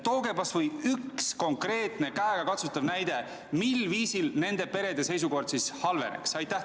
Tooge kas või üks konkreetne, käegakatsutav näide, mil viisil nende perede seisukord halveneks.